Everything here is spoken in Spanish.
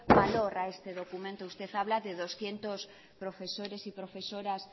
valor a este documento usted habla de doscientos profesores y profesoras